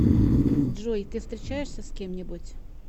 джой ты встречаешься с кем нибудь